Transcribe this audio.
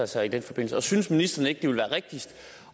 sig i den forbindelse og synes ministeren ikke at det vil være rigtigst